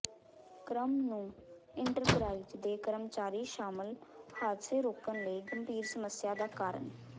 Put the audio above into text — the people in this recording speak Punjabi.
ਕ੍ਰਮ ਨੂੰ ਇੰਟਰਪਰਾਈਜ਼ ਦੇ ਕਰਮਚਾਰੀ ਸ਼ਾਮਲ ਹਾਦਸੇ ਰੋਕਣ ਲਈ ਗੰਭੀਰ ਸਮੱਸਿਆ ਦਾ ਕਾਰਨ